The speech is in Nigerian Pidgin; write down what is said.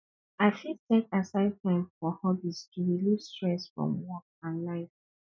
i fit set aside time for hobbies to relieve stress from work and life